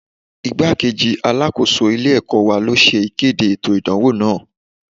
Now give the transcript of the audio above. Igbá-kejì Alákóso ilé ẹ̀kọ́ wa ló ṣe ìkéde ètò ìdánwò náà.